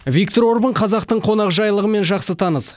виктор орбан қазақтың қонақжайлылығымен жақсы таныс